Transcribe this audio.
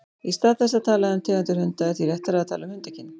Í stað þess að tala um tegundir hunda er því réttara að tala um hundakyn.